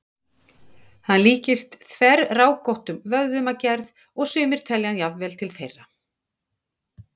Hann líkist þverrákóttum vöðvum að gerð, og sumir telja hann jafnvel til þeirra.